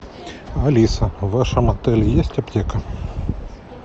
алиса в вашем отеле есть аптека